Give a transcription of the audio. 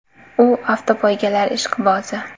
U avtopoygalar ishqibozi.